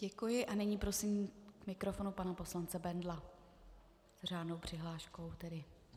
Děkuji a nyní prosím k mikrofonu pana poslance Bendla, s řádnou přihláškou tedy.